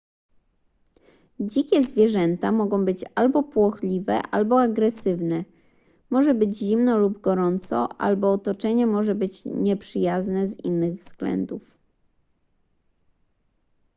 dzikie zwierzęta mogą być albo płochliwe albo agresywne może być zimno lub gorąco albo otoczenie może być nieprzyjazne z innych względów